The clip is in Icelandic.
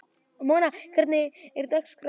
Mona, hvernig er dagskráin?